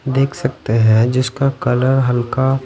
देख सकते हैं जिसका कलर हल्का--